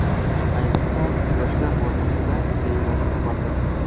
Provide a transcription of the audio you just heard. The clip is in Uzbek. Ayniqsa, yoshlar o‘rtasida, deyiladi xabarda.